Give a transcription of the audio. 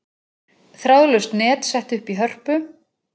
Þráðlaust net sett upp í Hörpu